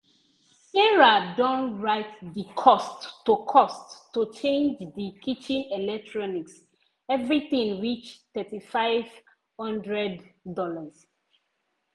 sarah don write di cost to cost to change di kitchen electronics everything reach $3500.